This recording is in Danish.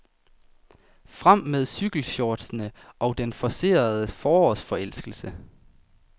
Frem med cykelshortsene og den forcerede forårsforelskelse.